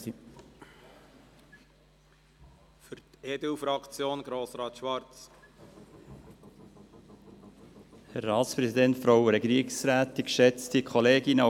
Auch die EDU-Fraktion hat dieser Bericht nicht aus den Socken gehauen.